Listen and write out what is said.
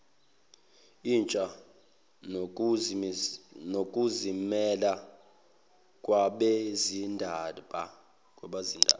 intsha nokuzimela kwabezindaba